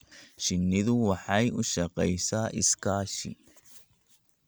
Shinnidu waxay u shaqeysaa iskaashi.